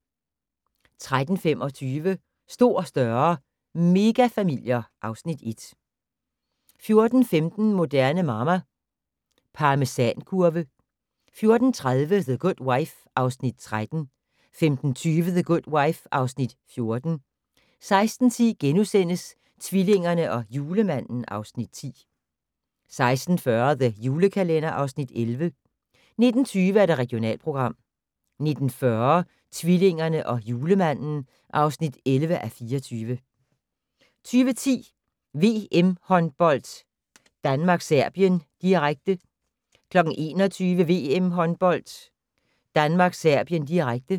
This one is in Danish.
13:25: Stor, større - megafamilier (Afs. 1) 14:15: Moderne Mamma - Parmesankurve 14:30: The Good Wife (Afs. 13) 15:20: The Good Wife (Afs. 14) 16:10: Tvillingerne og Julemanden (Afs. 10)* 16:40: The Julekalender (Afs. 11) 19:20: Regionalprogram 19:40: Tvillingerne og Julemanden (11:24) 20:10: VM-håndbold: Danmark-Serbien, direkte 21:00: VM-håndbold: Danmark-Serbien, direkte